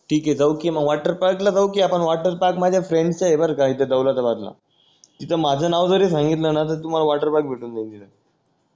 ठीक आहे जाऊ कि मग वॉटर पार्क ला जाऊ कि आपण वॉटर पार्क माझ्या फ्रेंड चा आहे बर का इथे दौलताबादला इथे माझा नाव जरी संघितलं ना तर तुम्हाला वॉटर पार्क भेटून जाईल इथे